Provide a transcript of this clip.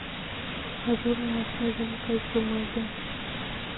ажурная снежинка из бумаги